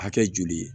Hakɛ joli ye